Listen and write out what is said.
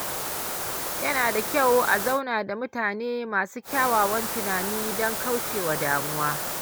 Yana da kyau a zauna da mutane masu kyakkyawan tunani don kauce wa damuwa.